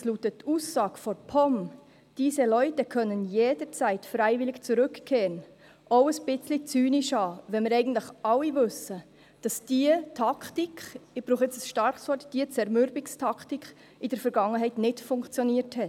Allerdings mutet die Aussage der POM – «Diese Leute können jederzeit freiwillig zurückkehren.» – auch ein wenig zynisch an, wenn wir eigentlich alle wissen, dass diese Taktik – ich brauche jetzt ein starkes Wort –, diese Zermürbungstaktik in der Vergangenheit nicht funktioniert hat.